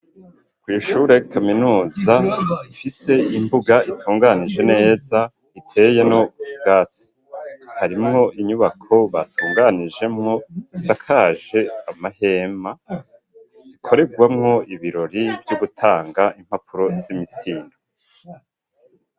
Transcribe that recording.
Kw'ishure kaminuza ifise imbuga itunganije neza iteyemwo ubwasi harimwo inyubako batunganijemwo zisakaje amahema zikoregwamwo ibirori vyo gutanga impapuro z'imitsindo.